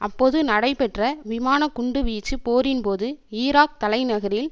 அப்போது நடைபெற்ற விமான குண்டு வீச்சு போரின் போது ஈராக் தலைநகரில்